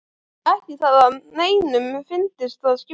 Ekki það að neinum fyndist það skipta máli.